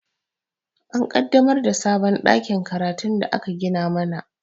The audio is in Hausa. An ƙaddamar da sabon ɗakin karatun da aka gina mana